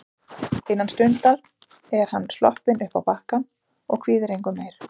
Innan stundar er hann sloppinn uppá bakkann og kvíðir engu meir.